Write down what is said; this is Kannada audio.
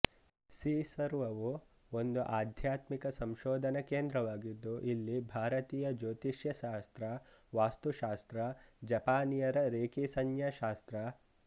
ಸೀಸರ್ವವು ಒಂದು ಆಧ್ಯಾತ್ಮಿಕ ಸಂಶೋಧನಾ ಕೇಂದ್ರವಾಗಿದ್ದು ಇಲ್ಲಿ ಭಾರತೀಯ ಜೋತಿಷ್ಯ ಶಾಸ್ತ್ರ ವಾಸ್ತು ಶಾಸ್ತ್ರ ಜಪಾನಿಯರ ರೇಕಿಸಂಜ್ನ್ಯಾ ಶಾಸ್ತ್ರ